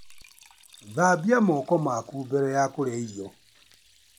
Thambia moko maku mbere ya kũrĩa irio.